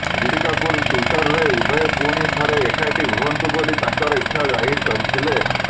ଋଷି କପୁର ଟ୍ୱିଟରରେ ଉଭୟେ ପୁଣି ଥରେ ଏକାଠି ହୁଅନ୍ତୁ ବୋଲି ତାଙ୍କର ଇଚ୍ଛା ଜାହିର କରିଥିଲେ